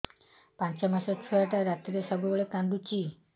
ପାଞ୍ଚ ମାସ ଛୁଆଟା ରାତିରେ ସବୁବେଳେ କାନ୍ଦୁଚି